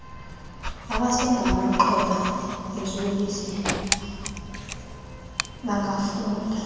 abasengamaxhoba eziyobisi bangafunda